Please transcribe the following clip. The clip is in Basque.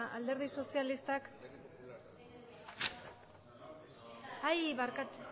alderdi sozialistak ai barkatu